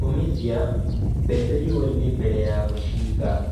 Omithia mbembe riũa-inĩ mbere ya gũciiga.